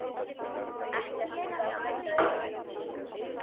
Ekkert þurfti að sprengja í grunninum.